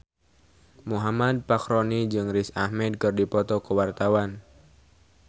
Muhammad Fachroni jeung Riz Ahmed keur dipoto ku wartawan